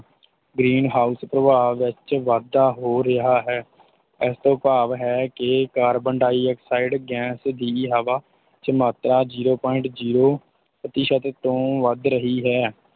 Green house ਪ੍ਰਭਾਵ ਵਿੱਚ ਵਾਧਾ ਹੋ ਰਿਹਾ ਹੈ ਇਸ ਤੋਂ ਭਾਵ ਇਹ ਹੈ ਕਿ ਕਾਰਬਨ ਡਾਇਆਕਸਾਈਡ ਗੈਸ ਦੀ ਹਵਾ ਵਿੱਚ ਮਾਤਰਾ zero point zero ਪ੍ਰਤੀਸ਼ਤ ਤੋਂ ਵੱਧ ਰਹੀ ਹੈ।